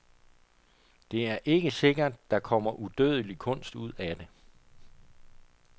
Det er ikke sikkert, der kommer udødelig kunst ud af det.